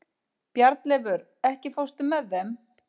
Bjarnleifur, ekki fórstu með þeim?